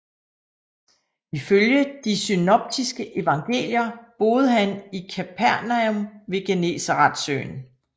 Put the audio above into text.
Ifølge de synoptiske evangelier boede han i Kapernaum ved Genesaretsøen